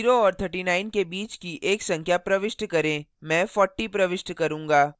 0 और 39 के बीच की एक संख्या प्रविष्ट करें मैं 40 प्रविष्ट करूंगा